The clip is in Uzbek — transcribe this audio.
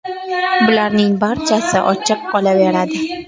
Bularning barchasi ochiq qolaveradi.